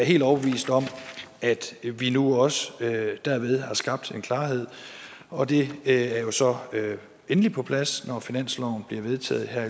helt overbevist om at vi nu også derved har skabt en klarhed og det er jo så endelig på plads når finansloven bliver vedtaget her